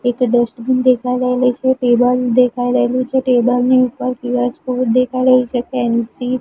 એક ડસ્ટબીન દેખાય રહેલી છે ટેબલ દેખાય રહેલું છે ટેબલ ની ઉપર દેખાય રહી છે પેન્સિ--